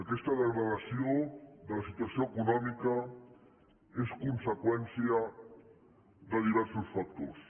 aquesta degradació de la situació econòmica és conseqüència de diversos factors